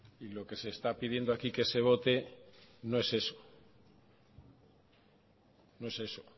y lo que se está pidiendo aquí que se vote no es eso no es eso